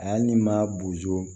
Ali ni ma bozo